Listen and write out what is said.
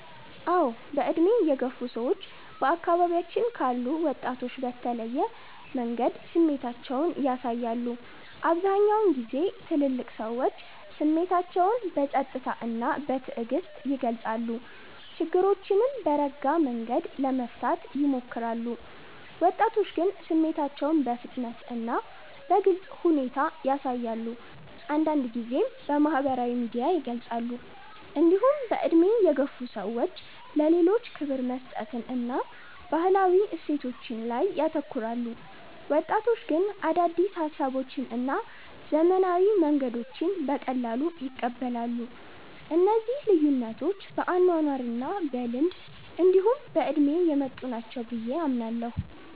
አዎ። በዕድሜ የገፉ ሰዎች በአካባቢያችን ካሉ ወጣቶች በተለየ መንገድ ስሜታቸውን ያሳያሉ። አብዛኛውን ጊዜ ትልልቅ ሰዎች ስሜታቸውን በጸጥታ እና በትዕግስት ይገልጻሉ፣ ችግሮችንም በረጋ መንገድ ለመፍታት ይሞክራሉ። ወጣቶች ግን ስሜታቸውን በፍጥነት እና በግልጽ ሁኔታ ያሳያሉ፣ አንዳንድ ጊዜም በማህበራዊ ሚዲያ ይገልጻሉ። እንዲሁም በዕድሜ የገፉ ሰዎች ለሌሎች ክብር መስጠትን እና ባህላዊ እሴቶችን ላይ ያተኩራሉ። ወጣቶች ግን አዳዲስ ሀሳቦችን እና ዘመናዊ መንገዶችን በቀላሉ ይቀበላሉ። እነዚህ ልዩነቶች በአኗኗር እና በልምድ እንዲሁ በእድሜ የመጡ ናቸው ብየ አምናለሁ።